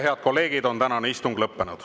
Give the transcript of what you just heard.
Head kolleegid, tänane istung on lõppenud.